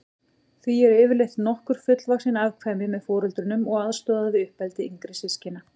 Því eru yfirleitt nokkur fullvaxin afkvæmi með foreldrunum og aðstoða við uppeldi yngri systkina.